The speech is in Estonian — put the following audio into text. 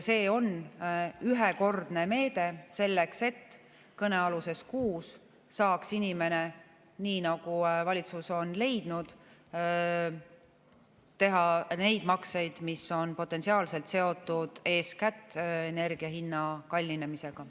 See on ühekordne meede selleks, et kõnealuses kuus saaks inimene, nii nagu valitsus on leidnud, teha neid makseid, mis on potentsiaalselt seotud eeskätt energia hinna kallinemisega.